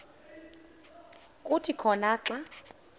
kuthi khona xa